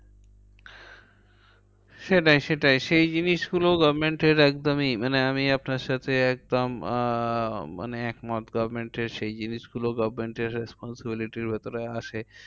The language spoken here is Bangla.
সেটাই সেটাই সেই জিনিসগুলো government এর একদমই মানে আমি আপনার সাথে একদম আহ মানে একমত। government এর সেই জিনিসগুলো government এর responsibility র ভেতরে আসে।